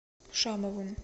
шамовым